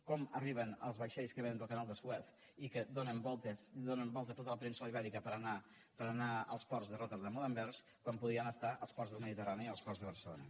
com arriben els vaixells que vénen del canal de suez i que donen voltes a tota la península ibèrica per anar als ports de rotterdam o d’anvers quan podrien estar als ports del mediterrani i als ports de barcelona